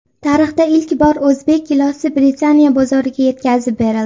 Tarixda ilk bor o‘zbek gilosi Britaniya bozoriga yetkazib berildi.